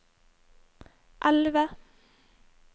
elve